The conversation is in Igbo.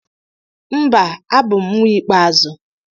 Mba, abụ m nwa ikpeazụ.